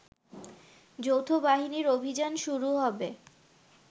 যৌথবাহিনীর অভিযান শুরু হবে